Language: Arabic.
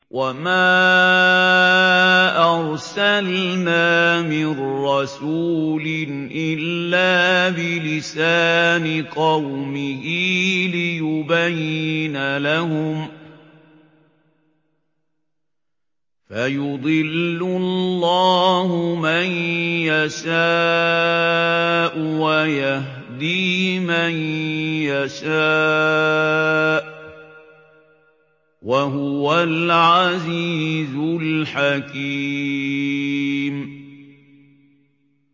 وَمَا أَرْسَلْنَا مِن رَّسُولٍ إِلَّا بِلِسَانِ قَوْمِهِ لِيُبَيِّنَ لَهُمْ ۖ فَيُضِلُّ اللَّهُ مَن يَشَاءُ وَيَهْدِي مَن يَشَاءُ ۚ وَهُوَ الْعَزِيزُ الْحَكِيمُ